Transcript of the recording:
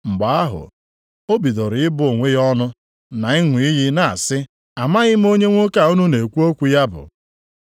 Mgbe ahụ o bidoro ịbụ onwe ya ọnụ, na ịṅụ iyi na-asị, “Amaghị m onye nwoke a unu na-ekwu okwu ya bụ.”